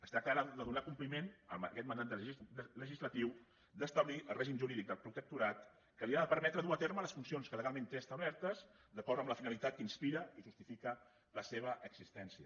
es tracta ara de donar compliment a aquest mandat legislatiu d’establir el règim jurídic del protectorat que li ha de permetre dur a terme les funcions que legalment té establertes d’acord amb la finalitat que inspira i justifica la seva existència